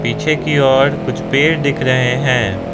पीछे की ओर कुछ पेड़ दिख रहें हैं।